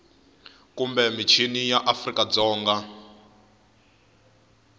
kumbe mixini ya afrika dzonga